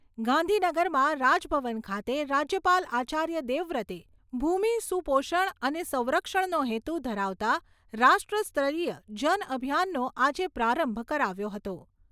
ગાંધીનગરમાં રાજ ભવન ખાતે રાજ્યપાલ આચાર્ય દેવવ્રતે ભૂમિ સુપોષણ અને સંરક્ષણનો હેતુ ધરાવતા રાષ્ટ્ર સ્તરીય જન અભિયાનનો આજે પ્રારંભ કરાવ્યો હતો.